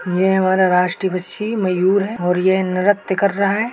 यह हमारा राष्ट्रीय पक्षी मयूर है और ये नृत्य कर रहा है।